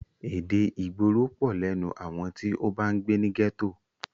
Èdè ìgboro pọ̀ lẹ́nu àwọn tí o bá ń gbé ní gẹ́tò.